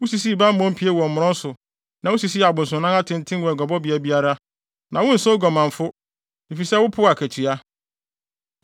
Wusisii bammɔ pie wɔ mmorɔn so na wusisii abosonnan atenten wɔ aguabɔbea biara, na wonsɛ oguamanfo, efisɛ wopoo akatua.